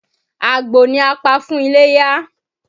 Àgbò ni a pa fún iléyá.